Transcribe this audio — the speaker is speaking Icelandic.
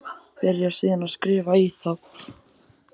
Byrjar síðan að skrifa í þá.